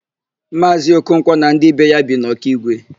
Maazị Okonkwo na ndị be ya bi n' Ọkigwe.